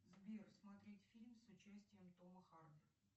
сбер смотреть фильм с участием тома харди